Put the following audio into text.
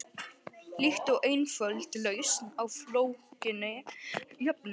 Líkt og einföld lausn á flókinni jöfnu.